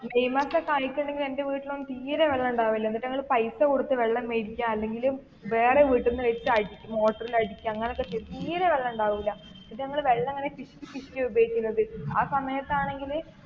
May മാസം ഒക്കെ ആയിട്ടുണ്ടെങ്കിൽ എന്റെ വീട്ടിൽ ഒന്നും തീരെ വെള്ളം ഉണ്ടാകില്ല എന്നിട്ട് ഞങ്ങള് പൈസ കൊടുത്തു വെള്ളം മേടിക്ക അല്ലെങ്കില് വേറെ വീട്ടിൽ നിന്ന് വെച്ച് motor ൽ അടിക്ക അങ്ങനൊക്കെ ചെയ്ത് തീരെ വെള്ളം ഉണ്ടാവില്ല എന്നിട്ട് ഞങ്ങള് വെള്ളം ഇങ്ങനെ പിശുക്കി പിശുക്കി ആണ് ഉപയോഗിക്കുന്നത് ആ സമയത്താണെങ്കില്,